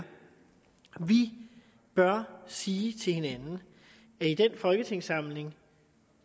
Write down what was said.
vi bør sige til hinanden at i den folketingssamling